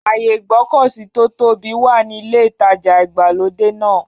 Ààyè Ìgbọ̀kọ̀sí tó tóbi wà ní ilé-ìtajà ìgbàlódé náà.